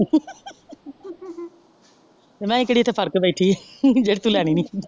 ਮੈਂ ਕੇਹਰਿ ਇਥੇ ਫੱੜ ਕੇ ਬੈਠੀ ਏ ਜਿਹੜੀ ਤੂੰ ਲੈਣੀ ਨੀ।